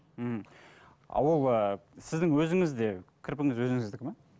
м а ол ы сіздің өзіңізде кірпігіңіз өзіңіздікі ме